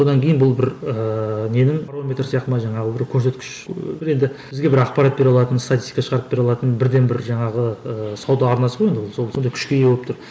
одан кейін бұл бір ііі ненің барометрі сияқты ма жаңағы бір көрсеткіш бір енді бізге бір ақпарат бере алатын статистика шығарып бере алатын бірден бір жаңағы ы сауда арнасы ғой енді ол сол сондай күшке ие болып тұр